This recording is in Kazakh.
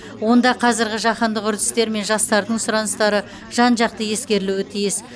онда қазіргі жаһандық үрдістер мен жастардың сұраныстары жан жақты ескерілуі тиіс